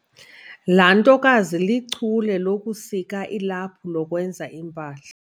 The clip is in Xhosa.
Laa ntokazi lichule lokusika ilaphu lokwenza iimpahla.